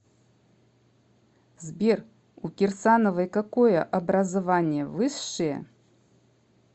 сбер у кирсановой какое образование высшее